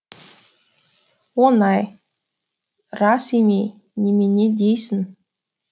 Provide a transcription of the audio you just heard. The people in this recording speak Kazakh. оңай рас емей немене дейсің